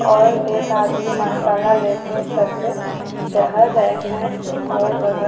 और एक आदमी मसाला ले के सर पे चहल रहे हैं और बगल--